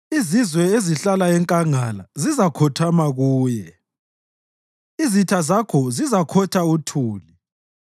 Izizwe ezihlala enkangala zizakhothama kuye, izitha zakhe zizakhotha uthuli.